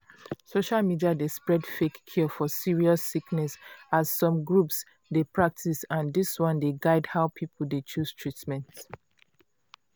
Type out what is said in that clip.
social media dey spread fake cure for serious sickness as some groups dey practice and dis one dey guide how people dey chose treatment.